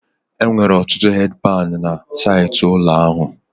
Enwere ọtụtụ hedi pani na saịtị ụlọ ahụ